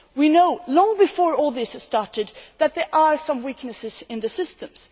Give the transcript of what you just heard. We knew long before all this started that there were some weaknesses in the systems.